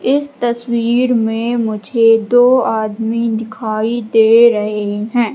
इस तस्वीर में मुझे दो आदमी दिखाई दे रहे है।